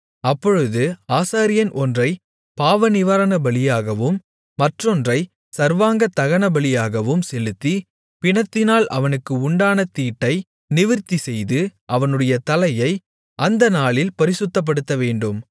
அப்பொழுது ஆசாரியன் ஒன்றைப் பாவநிவாரணபலியாகவும் மற்றொன்றைச் சர்வாங்க தகனபலியாகவும் செலுத்தி பிணத்தினால் அவனுக்கு உண்டான தீட்டை நிவிர்த்திசெய்து அவனுடைய தலையை அந்தநாளில் பரிசுத்தப்படுத்தவேண்டும்